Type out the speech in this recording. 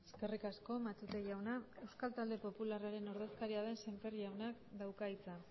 eskerrik asko matute jauna euskal talde popularraren ordezkaria den sémper jaunak dauka hitza